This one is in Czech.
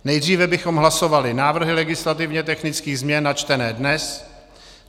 Nejdříve bychom hlasovali návrhy legislativně technických změn načtené dnes.